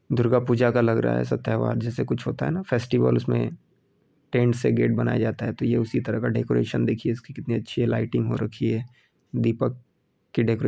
दुर्गा पूजा का लग रहा है सब तेहवार जैसे कुछ होता है ना फेस्टिवल्स उसमें टेंट से गेट बनाया जाता है तो ये उसी तरह का डेकोरेशन देखिये इसकी कितनी अच्छी लाइटिंग हो रखी है दीपक की डेको --